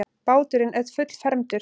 Báturinn er fullfermdur.